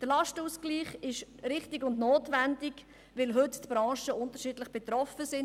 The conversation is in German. Der Lastenausgleich ist richtig und notwendig, da die Branchen heute unterschiedlich betroffen sind.